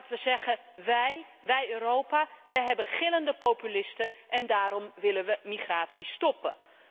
Maar dat we zeggen Wij, wij in Europa, we hebben gillende populisten en daarom willen we migratie stoppen.